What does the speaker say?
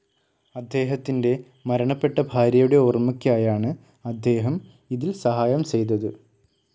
അദ്ദേഹത്തിൻ്റെ മരണപ്പെട്ട ഭാര്യയുടെ ഓർമയ്ക്കായാണ് അദ്ദേഹം ഇതിൽ സഹായം ചെയ്തത്.